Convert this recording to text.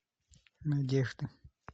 надежды